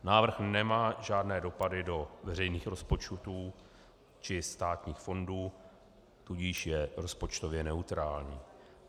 Návrh nemá žádné dopady do veřejných rozpočtů či státních fondů, tudíž je rozpočtově neutrální.